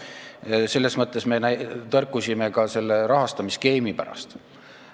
Just seepärast me oleme tõrkunud selle rahastamisskeemi vastu.